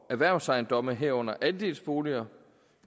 erhvervsejendomme herunder andelsboliger